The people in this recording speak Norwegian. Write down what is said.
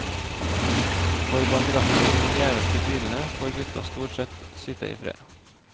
For bak rattet i de gjeveste bilene får gutta stort sett sitte i fred.